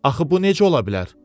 Axı bu necə ola bilər?